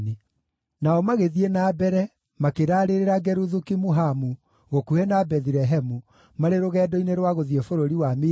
Nao magĩthiĩ na mbere, makĩraarĩrĩra Geruthu-Kimuhamu gũkuhĩ na Bethilehemu marĩ rũgendo-inĩ rwa gũthiĩ bũrũri wa Misiri,